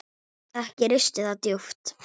Ekki risti það djúpt.